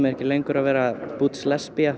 ekki lengur að vera butch lesbía